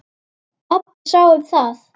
Pabbi sá um það.